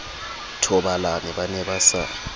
thobalane ba ne ba sa